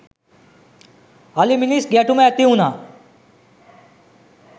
අලි මිනිස් ගැටුම ඇති වුණා.